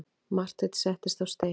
Marteinn settist á stein.